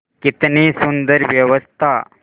कितनी सुंदर व्यवस्था